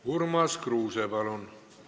Urmas Kruuse, palun!